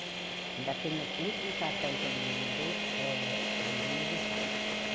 Ainda tenho o último cartão que ele me mandou eh no meu aniversário.